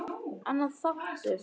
Annar þáttur